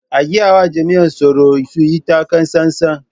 A gayawa jami'an tsaro su yi taka tsantsan.